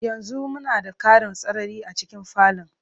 Yanzu muna da ƙarin sarari a cikin falon.